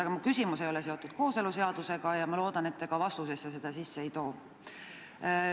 Aga minu küsimus ei ole seotud kooseluseadusega ja ma loodan, et te ka vastusesse seda sisse ei too.